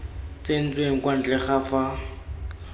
tsentsweng kwa ntle ga fa